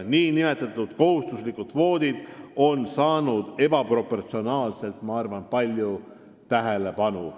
Ma arvan, et nn kohustuslikud kvoodid on saanud ebaproportsionaalselt palju tähelepanu.